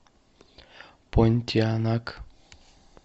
понтианак